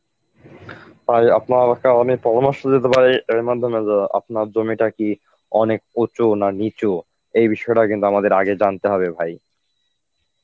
আমি আপনার ওটা আমি পরামর্শ দিতে পারি এর মধ্যে মধ্যে আপনার জমিটা কী অনেক উঁচু নাকি নিচু, এই বিষয়টা কিন্তু আমাদের আগে জানতে হবে ভাই?